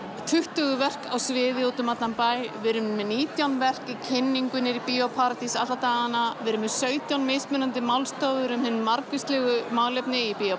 tuttugu verk á sviði út um allan bæ við erum með nítján verk í kynningu niðri í Bíó paradís alla dagana við erum með sautján mismunandi málstofur um hin margvíslegustu málefni í Bíó